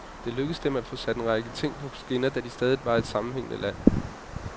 Det lykkedes dem at få en række ting sat på skinner, da de stadig var et sammenhængende land.